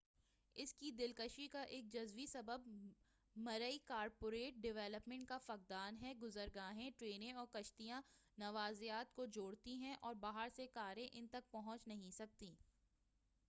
اس کی دلکشی کا ایک جزوی سبب مرئی کارپوریٹ ڈولپمنٹ کا فقدان ہے گزر گاہیں ٹرینیں اور کشتیاں نواضعات کو جوڑتی ہیں اور باہر سے کاریں ان تک پہنچ نہیں سکتیں